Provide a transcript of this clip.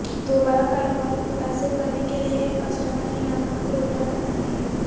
دوبارہ کاروبار کو متاثر کرنے کے لئے ایک کسٹمر انعامات پروگرام بنائیں